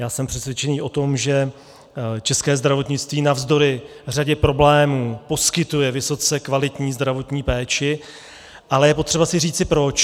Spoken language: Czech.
Já jsem přesvědčený o tom, že české zdravotnictví navzdory řadě problémů poskytuje vysoce kvalitní zdravotní péči, ale je potřeba si říci proč.